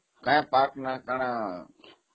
ସେ ପାହାଡର ନାମ କଣ?